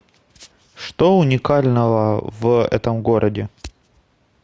что уникального в этом городе